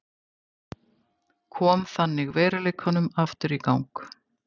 Kom þannig veruleikanum aftur í gang.